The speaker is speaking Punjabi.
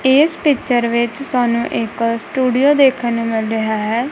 ਇਸ ਪਿਕਚਰ ਵਿੱਚ ਸਾਨੂੰ ਇੱਕ ਸਟੂਡੀਓ ਦੇਖਣ ਨੂੰ ਮਿਲ ਰਿਹਾ ਹੈ।